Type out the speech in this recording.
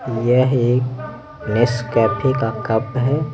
यह एक Nescafe का कप है।